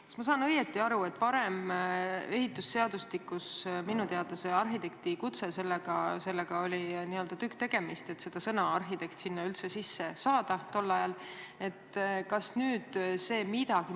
Kas ma saan õigesti aru, et ehitusseadustiku puhul oli tükk tegemist, et sõna "arhitekt" sinna üldse sisse saada?